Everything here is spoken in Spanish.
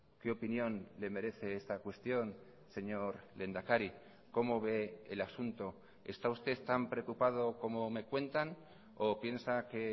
qué opinión le merece esta cuestión señor lehendakari cómo ve el asunto está usted tan preocupado como me cuentan o piensa que